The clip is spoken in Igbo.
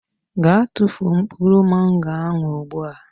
Gaa tụfuo mkpụrụ Mango ahụ ugbu a.